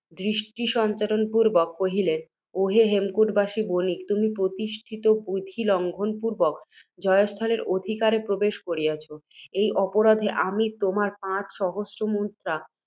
দৃষ্টি সঞ্চারণ পূর্ব্বক কহিলেন, অহে হেমকূটবাসী বণিক! তুমি, প্রতিষ্ঠিত বিধি লঙ্ঘন পূর্ব্বক, জয়স্থলের অধিকারে প্রবেশ করিয়াছ, এই অপরাধে আমি তোমার পাঁচ সহস্র মুদ্রা